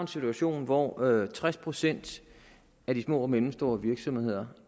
situation hvor tres procent af de små og mellemstore virksomheder